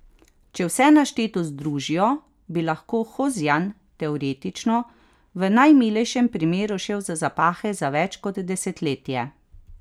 Če vse našteto združijo, bi lahko Hozjan, teoretično, v najmilejšem primeru šel za zapahe za več kot desetletje.